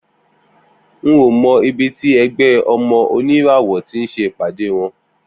N ò mo̩ ibi tí e̩gbé̩ O̩mo̩ Oníràwò̩ tí ń s̩e ìpàdé wo̩n